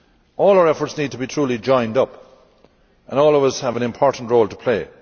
All our efforts need to be truly joined up and all of us have an important role to play.